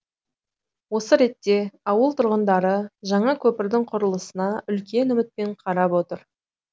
осы ретте ауыл тұрғындары жаңа көпірдің құрылысына үлкен үмітпен қарап отыр